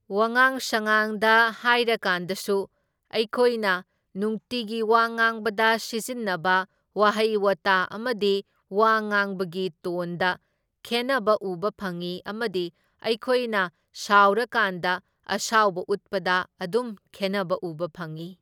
ꯋꯥꯉꯥꯡ ꯁꯉꯥꯡꯗ ꯍꯥꯏꯔꯀꯥꯟꯗꯁꯨ ꯑꯩꯈꯣꯏꯅ ꯅꯨꯡꯇꯤꯒꯤ ꯋꯥ ꯉꯥꯡꯕꯗ ꯁꯤꯖꯤꯟꯅꯕ ꯋꯥꯍꯩ ꯋꯥꯇꯥ ꯑꯃꯗꯤ ꯋꯥ ꯉꯥꯡꯕꯒꯤ ꯇꯣꯟꯗ ꯈꯦꯟꯅꯕ ꯎꯕ ꯐꯪꯢ ꯑꯃꯗꯤ ꯑꯩꯈꯣꯏꯅ ꯁꯥꯎꯔꯀꯥꯟꯗ ꯑꯁꯥꯎꯕ ꯎꯠꯄꯗ ꯑꯗꯨꯝ ꯈꯦꯟꯅꯕ ꯎꯕ ꯐꯪꯢ꯫